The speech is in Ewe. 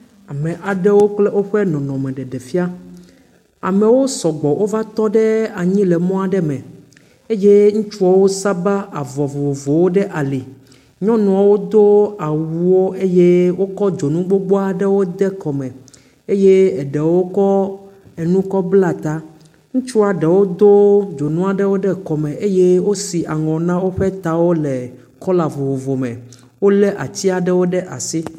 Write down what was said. Ame aɖewo kple woƒe nɔnɔme ɖeɖefia. Amewo sɔgbɔ wova tɔ ɖe anyi le mɔ aɖe me. eye wo saba avɔ vovovowo ɖe ali. Nyɔnuwo do awuwo eye wokɔ dzonu gbogbo aɖewo de kɔme. Eye eɖewo kɔ enu kɔ bla ta. Ŋutsua ɖewo do dzonu aɖewo de kɔme eye wosi aŋɔ na woƒe tawo le kɔla vovovo me. wolé atiwo ɖe asi.